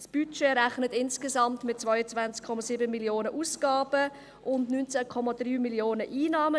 Das Budget rechnet mit insgesamt 22,7 Mio. Franken Ausgaben und 19,3 Mio. Franken Einnahmen.